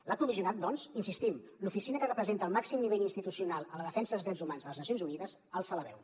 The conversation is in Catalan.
l’alt comissionat doncs hi insistim l’oficina que representa el màxim nivell institucional en la defensa dels drets humans a les nacions unides alça la veu